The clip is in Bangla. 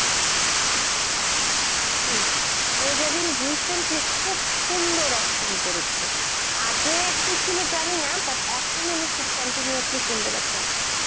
হম মীর্জা বিন recently খুব সুন্দর acting করেছে. আগে কি ছিল জানিনা but এখন উনি খুব continuously সুন্দর acting করেছে,